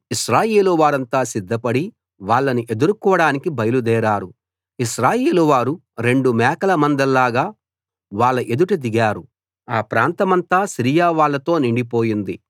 ఇశ్రాయేలు వారంతా సిద్ధపడి వాళ్ళని ఎదుర్కోడానికి బయలుదేరారు ఇశ్రాయేలు వారు రెండు మేకల మందల్లాగా వాళ్ళ ఎదుట దిగారు ఆ ప్రాంతమంతా సిరియా వాళ్ళతో నిండిపోయింది